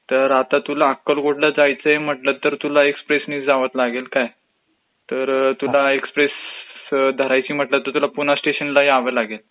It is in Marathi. तर आता तुला अक्कलकोटला जायचंय म्हटलं तर तुला एक्सप्रेसनी जावचं लागेल काय, तर तुला एक्सप्रेस धरायची म्हटलं तर पुणास्टेशनला यावं लागेल